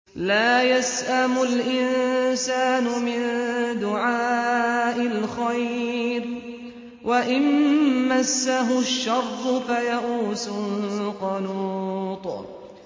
لَّا يَسْأَمُ الْإِنسَانُ مِن دُعَاءِ الْخَيْرِ وَإِن مَّسَّهُ الشَّرُّ فَيَئُوسٌ قَنُوطٌ